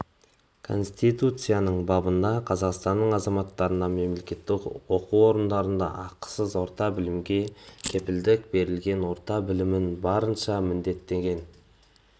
конституциясының бабында қазақстан азаматтарына мемлекеттік оқу орындарында ақысыз орта білімге кепілдік берілген орта білім баршасына міндеттелген